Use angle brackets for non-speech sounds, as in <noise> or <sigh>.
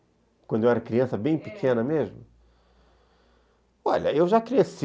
Quando eu era criança, bem pequena mesmo, <unintelligible> olha, eu já cresci <unintelligible>